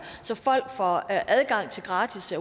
så folk får adgang til gratis